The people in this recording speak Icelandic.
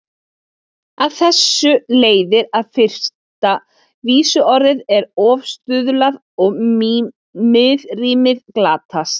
Af þessu leiðir að fyrsta vísuorð er ofstuðlað og miðrímið glatast.